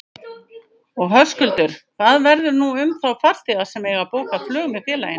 Og Höskuldur, hvað verður nú um þá farþega sem eiga bókað flug með félaginu?